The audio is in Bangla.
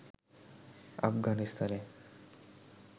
আফগানিস্তানে